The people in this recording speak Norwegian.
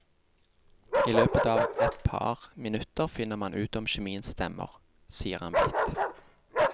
I løpet av etpar minutter finner man ut om kjemien stemmer, sier han blidt.